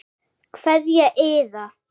Kveðja Iða.